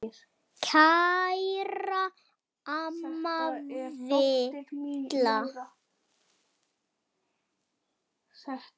Kæra amma Villa.